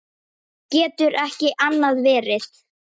Getur ekki annað verið.